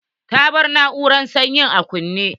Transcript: Ta bar na'urar sanyi a kunne.